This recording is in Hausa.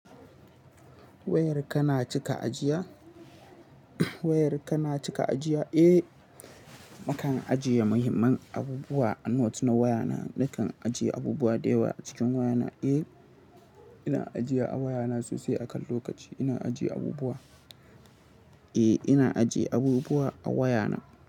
Wayar kana cika ajiya? Wayar kana cika ajiya? Eh, naka ajiye muhimman abubuwa a note na wayana. Nakan ajiye abubuwa da yawa a cikin wayana. Eh, ina ajiya a wayana sosai. A kan lokaci ina ajiye abubuwa. Eh, ina ajiye abubuwa a wayana.